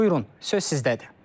Buyurun, söz sizdədir.